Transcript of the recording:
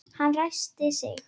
Hann ræskti sig.